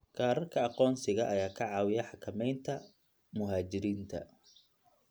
Kaararka aqoonsiga ayaa ka caawiya xakamaynta muhaajiriinta.